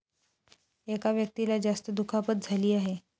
एका व्यक्तीला जास्त दुखापत झाली आहे.